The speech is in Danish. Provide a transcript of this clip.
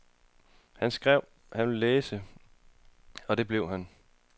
Han skrev, han ville læses, og det blev han.